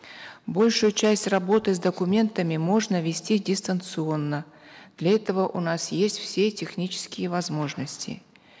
большую часть работы с документами можно вести дистанционно для этого у нас есть все технические возможности